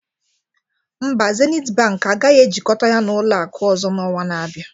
Mba, Zenith Bank agaghị ejikọta ya na ụlọ akụ ọzọ n'ọnwa na-abịa